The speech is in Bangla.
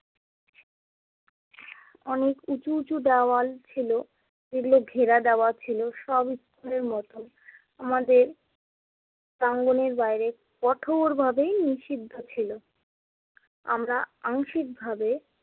অনেক উঁচু উঁচু দেওয়াল ছিলো। যেগুলো ঘেরা দেওয়া ছিলো সব স্কুলের মতন। আমাদের প্রাঙ্গণের বাইরে কঠোরভাবে নিষিদ্ধ ছিলো। আমরা আংশিকভাবে